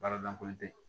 Baara lankolon te yen